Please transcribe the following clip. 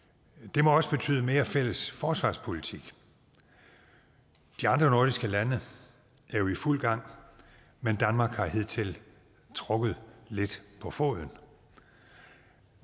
det må også betyde mere fælles forsvarspolitik de andre nordiske lande er jo i fuld gang men danmark har hidtil trukket lidt på foden